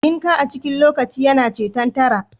Dinki a cikin lokaci yana ceton tara